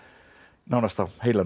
nánast á heilanum